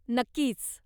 नक्कीच!